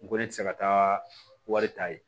N ko ne tɛ se ka taa wari ta yen